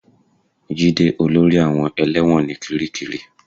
Jide olórí àwọn ẹlẹ́wọ̀n ní kiríkirì